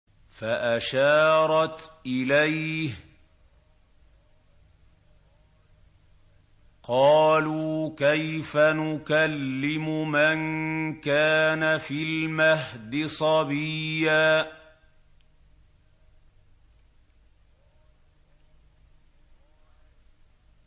فَأَشَارَتْ إِلَيْهِ ۖ قَالُوا كَيْفَ نُكَلِّمُ مَن كَانَ فِي الْمَهْدِ صَبِيًّا